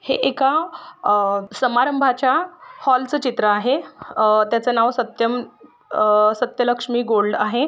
हे एका अ समारंभाचा हॉल चित्र आहे अ त्याच नाव सत्यम अ सत्यलक्ष्मी गोल्ड आहे.